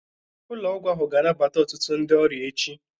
Ụlọ ọgwụ ahụ ga-anabata ọtụtụ ndị ọrịa echi.